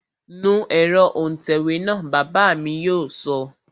Nu ẹ̀rọ òǹtẹ̀wé náà, Ọ̀gá mi yóò sọ